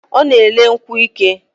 O na ele nkwu ike